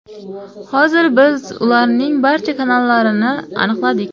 Hozir biz ularning barcha kanallarini aniqladik.